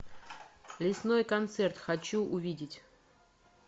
лесной концерт хочу увидеть